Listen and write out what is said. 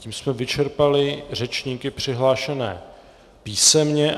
Tím jsme vyčerpali řečníky přihlášené písemně.